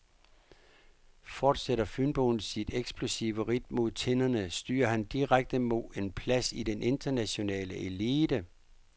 Fortsætter fynboen sit eksplosive ridt mod tinderne, styrer han direkte mod en plads i den internationale elite.